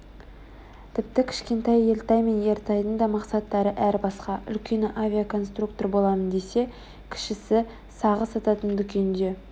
тіпті кішкентай елтай мен ертайдың да мақсаттары әр басқа үлкені авиаконструктор боламын десе кішісі сағыз сататын дүкенде